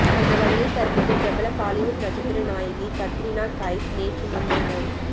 அந்தவகையில் தற்போது பிரபல பாலிவுட் நட்சத்திர நாயகி கத்ரீனா கைஃப் நேற்று முன் தினம்